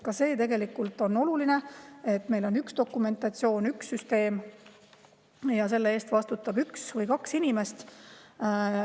Ka see on tegelikult oluline, et meil oleks üks dokumentatsioon, üks süsteem ja selle eest vastutaks üks või kaks inimest.